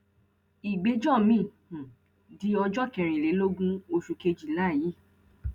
ìgbẹjọ miín um di ọjọ kẹrìnlélógún oṣù kejìlá yìí